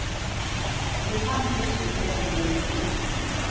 tjuefem tusen tre hundre og nittini